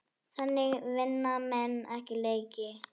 Þannig vinna menn ekki leiki.